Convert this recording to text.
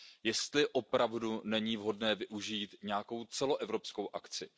jestli není opravdu vhodné využít nějakou celoevropskou akci.